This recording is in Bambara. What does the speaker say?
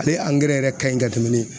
Ale angɛrɛ yɛrɛ ka ɲi ka tɛmɛn ni